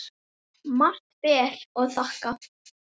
Margt ber að þakka.